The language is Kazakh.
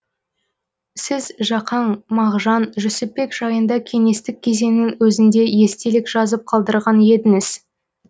сіз жақаң мағжан жүсіпбек жайында кеңестік кезеңнің өзінде естелік жазып қалдырған едіңіз